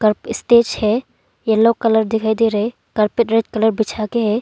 Stage है yellow colour दिखाई दे रहे कारपेट रेड कलर बिछा के।